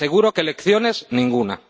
Le aseguro que lecciones, ninguna.